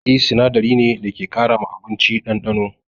Maggi sinadari ne da ke ƙara ma abinci ɗanɗano.